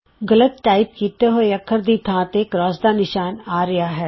ਗਲਤ ਟਾਈਪ ਹੋਏ ਅੱਖਰ ਦੀ ਥਾਂ ਤੇ X ਦਾ ਨਿਸ਼ਾਨ ਆ ਰਿਹਾ ਹੈ